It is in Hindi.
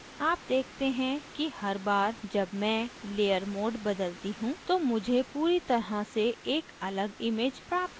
आप देखते हैं कि हर बार जब मैं layer mode बदलती you तो मुझे पूरी तरह से एक अलग image प्राप्त होती है